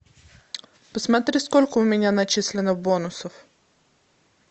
посмотри сколько у меня начислено бонусов